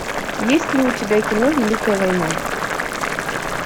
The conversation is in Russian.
есть ли у тебя кино великая война